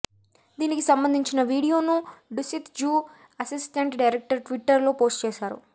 దీనికి సంబంధించిన వీడియోను డుసిత్ జూ అసిస్టెంట్ డైరెక్టర్ ట్విటర్లో పోస్ట్ చేశారు